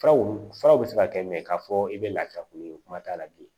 Furaw furaw bɛ se ka kɛ min ye k'a fɔ i bɛ lafiya ko min kuma t'a la bi